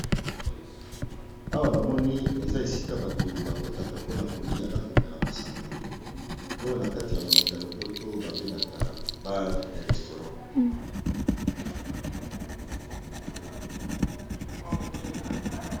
Awa, na moni eza esika bato bakotaka mpona kolia na komela masanga ; oyo na kati ya monoko ya lopoto babengaka bare et restaurant.